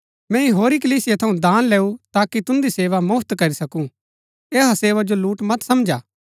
मैंई होरी कलीसिया थऊँ दान लैऊ ताकि तुन्दी सेवा मुफ्‍त करी सकूँ ऐहा सेवा जो लूट मत समझा